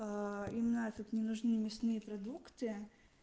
именно этот мне нужны мясные продукты